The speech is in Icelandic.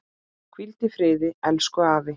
Hvíld í friði, elsku afi.